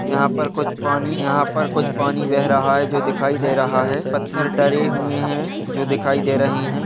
यहाँ पर कुछ पानी यहाँ पर कुछ पानी बह रहा है जो दिखाई दे रहा है पत्थर डले हुए है जो दिखाई दे रहे है।